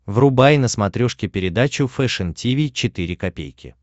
врубай на смотрешке передачу фэшн ти ви четыре ка